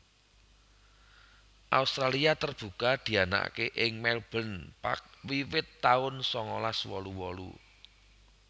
Australia Terbuka dianakaké ing Melbourne Park wiwit taun sangalas wolu wolu